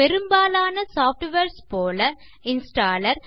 பெரும்பாலான சாஃப்ட்வேர்ஸ் போல் இன்ஸ்டாலர்